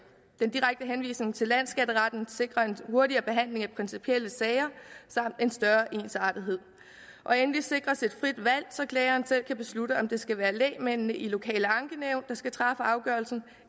den direkte henvisning til landsskatteretten sikrer en hurtigere behandling af principielle sager samt en større ensartethed endelig sikres et frit valg så klageren selv kan beslutte om det skal være lægmændene i lokale ankenævn der skal træffe afgørelsen